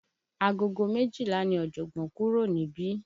Agogo méjìlá ni Ojogbon kúrò níbí.